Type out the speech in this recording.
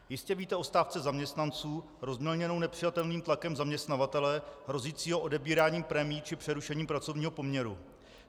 Jistě víte o stávce zaměstnanců rozmělněné nepřijatelným tlakem zaměstnavatele hrozícího odebíráním prémií či přerušením pracovního poměru.